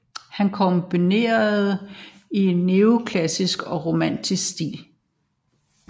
Han komponerede i neoklassisk og romantisk stil